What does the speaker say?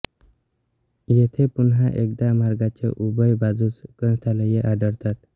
येथे पुन्हा एकदा मार्गाच्या उभय बाजूंस ग्रंथालये आढळतात